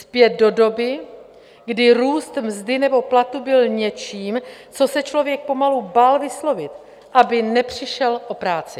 Zpět do doby, kdy růst mzdy nebo platu byl něčím, co se člověk pomalu bál vyslovit, aby nepřišel o práci.